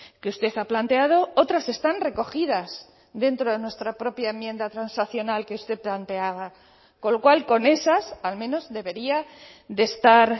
que usted ha planteado otras están recogidas dentro de nuestra propia enmienda transaccional que usted planteaba con lo cual con esas al menos debería de estar